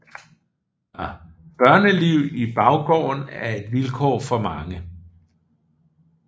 Børneliv i baggårdene er et vilkår for mange